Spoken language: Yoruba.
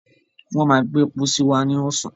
wọ́n má gbé pósí wá ní ọ̀sán.